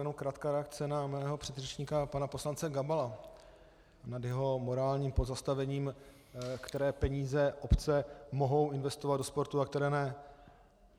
Jenom krátká reakce na mého předřečníka pana poslance Gabala nad jeho morálním pozastavením, které peníze obce mohou investovat do sportu a které ne.